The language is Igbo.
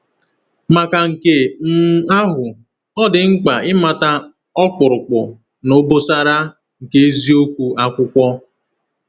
Maka nke um ahụ, ọ dị mkpa ịmata “ọkpụrụkpụ na obosara” nke eziokwu Akwụkwọ.